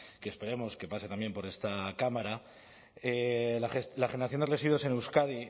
que esperemos que pase también por esta cámara la generación de residuos en euskadi